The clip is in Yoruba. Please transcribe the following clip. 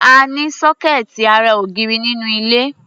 A ní sọ́kẹ́ẹ̀tì ará ògiri nínú ilé.